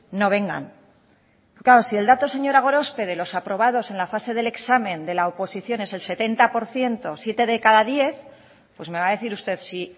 no vengan claro si el dato señora gorospe de los aprobados en la fase del examen de la oposición es el setenta por ciento siete de cada diez pues me va a decir usted si